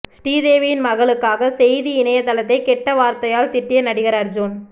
ஸ்ரீதேவியின் மகளுக்காக செய்தி இணையதளத்தை கெட்ட வார்த்தையால் திட்டிய நடிகர் அர்ஜுன்